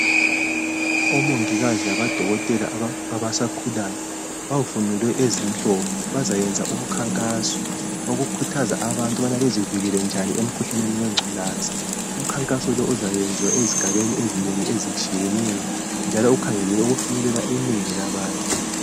Omongikazi labodokotela abasakhulayo bavunule ezimhlophe, bazayenza umkhankaso wokukhuthaza abantu ukuba bazivikele njani emkhuhlaneni wengculaza. Umkhankaso lowu uzayenziwa ezigabeni ezinengi ezitshiyeneyo njalo ukhangelelwe ukufinyelela inengi labantu.